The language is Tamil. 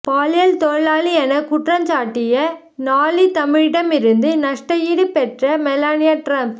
பாலியல் தொழிலாளி என குற்றஞ்சாட்டிய நாளிதழிடமிருந்து நஷ்ட ஈடு பெற்ற மெலனியா டிரம்ப்